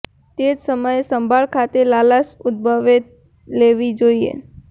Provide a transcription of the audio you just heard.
તે જ સમયે સંભાળ ખાતે લાલાશ ઉદ્દભવે લેવી જોઇએ